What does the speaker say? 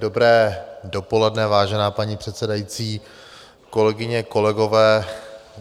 Dobré dopoledne, vážená paní předsedající, kolegyně, kolegové.